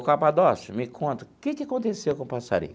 Ô, Capadócio, me conta, que que aconteceu com o passarinho?